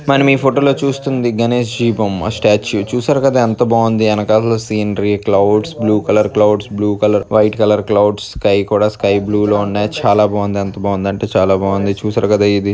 మనం ఈ ఫోటోలో చూస్తుంది గణేశ్ బొమ్మ స్టాచ్చు . చూసారు కదా ఎంత బావుంది వెనకాతల scenery clouds blue colour clouds blue colour white colour clouds sky కూడా స్కై బ్లూ లో ఉన్నాయి చాల బావుంది. ఎంత బావుంది అంటే చాల బావుంది చూసారు గద ఇది.